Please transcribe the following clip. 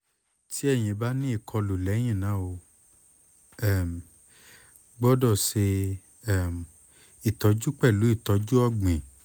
ti eyin ba ni ikolu lẹhinna o um gbọdọ ṣe um itọju pẹlu itọju ọgbin